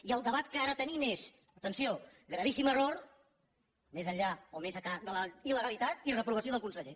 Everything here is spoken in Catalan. i el debat que ara tenim és atenció gravíssim error més enllà o més ençà de la il·legalitat i reprovació del conseller